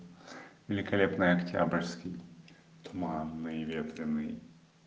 великолепная октябрьский туманный ветреный